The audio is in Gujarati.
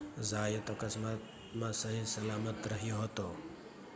ઝાયત અકસ્માતમાં સહીસલામત રહ્યો હતો